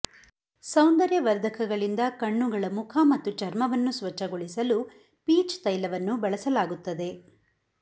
ಸೌಂದರ್ಯವರ್ಧಕಗಳಿಂದ ಕಣ್ಣುಗಳ ಮುಖ ಮತ್ತು ಚರ್ಮವನ್ನು ಸ್ವಚ್ಛಗೊಳಿಸಲು ಪೀಚ್ ತೈಲವನ್ನು ಬಳಸಲಾಗುತ್ತದೆ